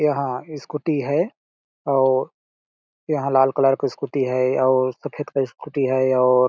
यहाँ स्कूटी है और यहाँ लाल कलर का स्कूटी है और सफ़ेद कलर का स्कूटी है और--